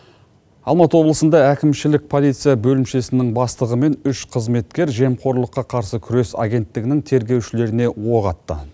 алматы облысында әкімшілік полиция бөлімшесінің бастығымен үш қызметкер жемқорлыққа қарсы күрес агенттігінің тергеушілеріне оқ атты